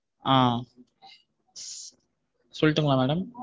ஆஹ் சொல்லட்டும்மா madam.